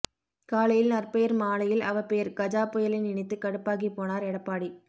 காலையில் நற்பெயர் மாலையில் அவப்பெயர் கஜா புயலை நினைத்து கடுப்பாகிப்போனார் எடப்பாடி